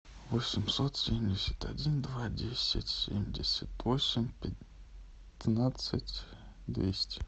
восемьсот семьдесят один два десять семьдесят восемь пятнадцать двести